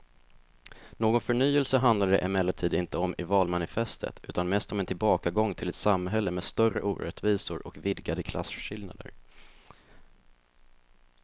Någon förnyelse handlar det emellertid inte om i valmanifestet utan mest om en tillbakagång till ett samhälle med större orättvisor och vidgade klasskillnader.